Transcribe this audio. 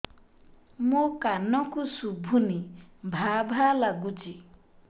ମୋ କାନକୁ ଶୁଭୁନି ଭା ଭା ଲାଗୁଚି